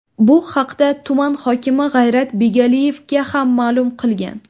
Bu haqda tuman hokimi G‘ayrat Begaliyevga ham ma’lum qilgan.